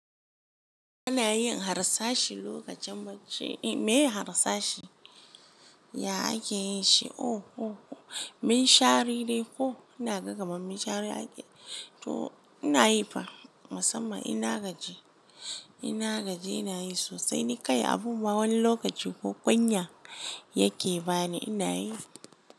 Ana yin harsashi lokacin bacci. Me harsashi ya ake yin shi? Oho, min shari ne ko ina ga kaman min shari ake, to ina yi fa. Musamman in na gaji, ina gaji ina yi sosai ni kai abu wani lokaci ko kunya yake bani ina yi.